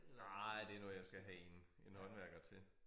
Nej det noget jeg skal have 1 en håndværker til